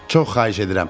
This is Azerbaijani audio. Çox xahiş edirəm.